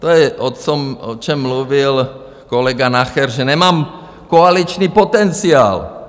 To je, o čem mluvil kolega Nacher, že nemám koaliční potenciál.